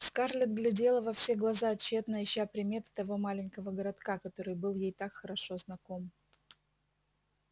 скарлетт глядела во все глаза тщетно ища приметы того маленького городка который был ей так хорошо знаком